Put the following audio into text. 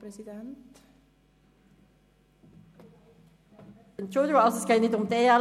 Entschuldigung, es geht nicht um die EL.